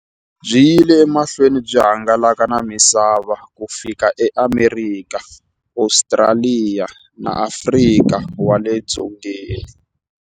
Byi yile emahlweni byi hangalaka na misava ku fika eAmerika, Ostraliya na Afrika wale dzongeni.